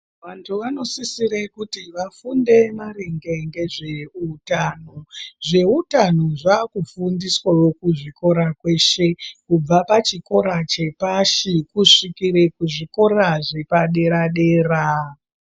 Vantu vanosisre kuti vafunde maringe ngezveutano. Zveutano zvaakufundiswawo kuzvikora kweshe, kubva pachikora chepashi kusvikire kuzvikora zvepadera-dera.